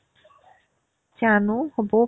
জানো হ'বও